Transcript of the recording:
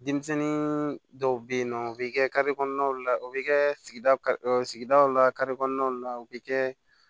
Denmisɛnnin dɔw bɛ yen nɔ u bɛ kɛ kɔnɔnaw la u bɛ kɛ sigida sigidaw la kare kɔnɔnaw la u bɛ kɛ